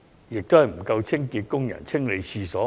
最終是沒有足夠的清潔工人清理廁所。